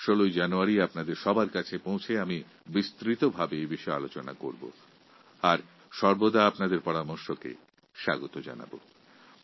১৬ই জানুয়ারি আমি আপনাদের সম্মুখীন হয়ে সবিস্তারে আলোচনা করব আপনাদের পরামর্শের অপেক্ষায় থাকবো